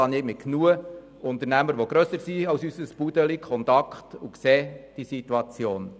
Ich habe zu genügend Unternehmern Kontakt, deren Unternehmen grösser als unsere kleine Firma sind, und kenne die Situation.